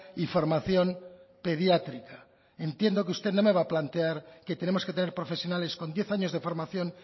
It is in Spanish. y formación pediátrica entiendo que usted no me va a plantear que tenemos que tener profesionales con diez años de formación